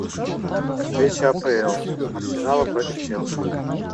встреча апл арсенала против челси